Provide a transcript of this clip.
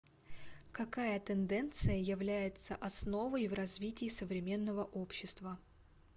какая тенденция является основой в развитии современного общества